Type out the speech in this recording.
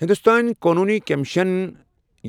ہندوستٲنی قونوٗنی کمیشن